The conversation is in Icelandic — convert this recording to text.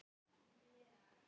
Hann stendur við rúmið mitt.